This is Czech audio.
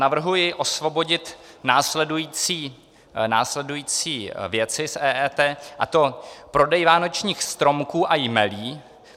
Navrhuji osvobodit následující věci z EET, a to prodej vánočních stromků a jmelí.